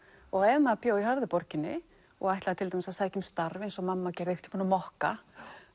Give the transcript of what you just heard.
og ef maður bjó í Höfðaborginni og ætlaði til dæmis að sækja um starf eins og mamma gerði einhvern tímann á mokka